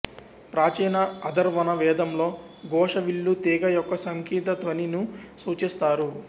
ప్రాచీన అథర్వణ వేదంలో ఘోష విల్లు తీగ యొక్క సంగీత ధ్వని ను సూచిస్తారు